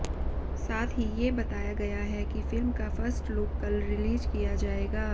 साथ ही ये बताया गया है कि फिल्म का फर्स्ट लुक कल रिलीज़ किया जाएगा